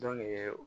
Dɔnku ye